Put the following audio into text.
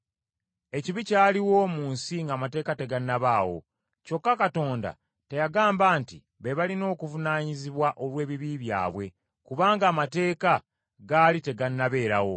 Ekibi kyaliwo mu nsi ng’amateeka tegannabaawo. Kyokka Katonda teyagamba nti be balina okuvunaanyizibwa olw’ebibi byabwe, kubanga Amateeka gaali tegannabeerawo.